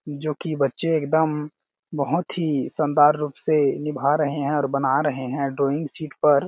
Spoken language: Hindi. जोकी बच्चे एक दम बहोत ही शानदार रूप से निभा रहे है और बना रहे है ड्राइंग शीट पर--